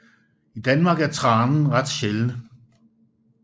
I Danmark er tranen ret sjælden